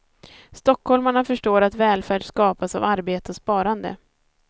Stockholmarna förstår att välfärd skapas av arbete och sparande.